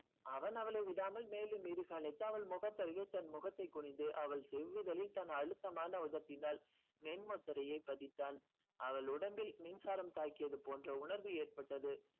அவன் அவளை விடாமல் மேனி மீது அனைத்து அவள் முகத்தருகே தன் முகத்தை குனிந்து அவள் செவ்விதலில் தன் அழுத்தமான உதட்டினாள் மென் முத்தரையை பதித்தான். அவள் உடம்பில் மின்சாரம் தாக்கியது போன்ற உணர்வு ஏற்பட்டது